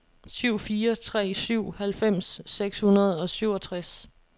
syv fire tre syv halvfems seks hundrede og syvogtres